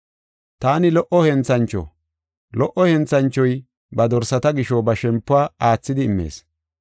“Taani lo77o henthancho; lo77o henthanchoy ba dorsata gisho ba shempuwa aathidi immees.